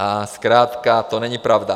A zkrátka to není pravda.